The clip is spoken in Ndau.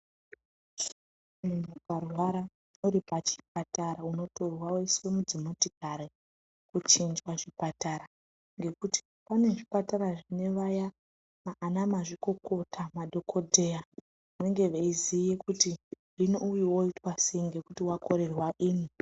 Muntu ungarwara uri pachipatara unotorwa woiswa padzimotikari kuchinjwa chipatara nekuti pane zvipatara zvine aya ana mazvikokota madhokodheya anenge aiziva kuti hino uyu oitwa sei ngekuti wakorerwa ino.